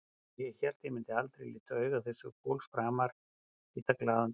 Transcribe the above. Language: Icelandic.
Og ég hélt ég myndi aldrei líta augu þessa fólks framar, aldrei líta glaðan dag.